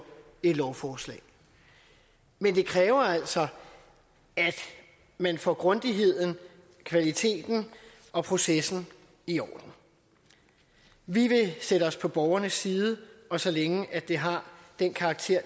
et lovforslag men det kræver altså at man får grundigheden kvaliteten og processen i orden vi vil stille os på borgernes side og så længe det har den karakter